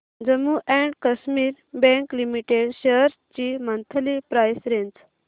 Jammu and Kashmir bank limited shares ची monthly price range